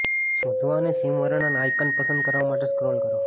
શોધવા અને સિમ વર્ણન આયકન પસંદ કરવા માટે સ્ક્રોલ કરો